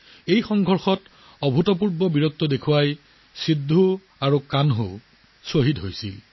এই সংগ্ৰামত আচৰিত শৌৰ্য্য দেখুৱাই বীৰ সিদ্ধহো আৰু কানহু শ্বহীদ হৈছিল